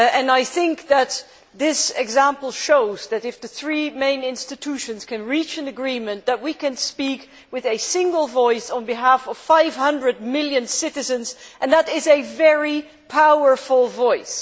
I think that this example shows that, if the three main institutions can reach an agreement, we can speak with a single voice on behalf of 500 million citizens and that is a very powerful voice.